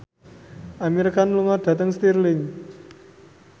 Amir Khan lunga dhateng Stirling